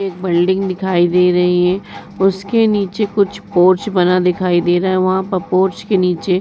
एक बिल्डिंग दिखाई दे रही है। उसके नीचे कुछ पोर्च दिखाई दे रहा है। वहाँ पोर्च के नीचे --